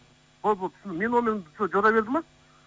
болды болды менің номерімді жора берді ма